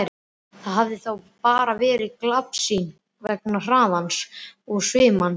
Þetta hafði þá bara verið glapsýn vegna hraðans og svimans.